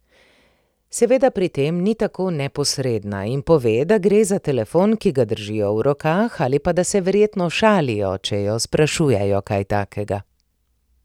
Seveda pri tem ni tako neposredna in pove, da gre za telefon, ki ga držijo v rokah, ali pa da se verjetno šalijo, če jo sprašujejo kaj takega.